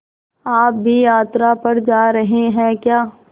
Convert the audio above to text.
आप भी यात्रा पर जा रहे हैं क्या